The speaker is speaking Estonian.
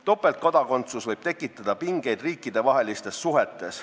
Topeltkodakondsus võib tekitada pingeid riikidevahelistes suhetes.